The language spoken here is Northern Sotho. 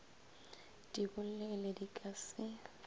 di bolele di ka se